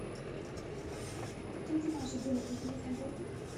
тете маше денег на телефон закинь